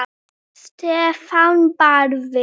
Stefán Barði.